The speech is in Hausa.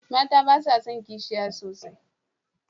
Mata ba sa son kishiya sosai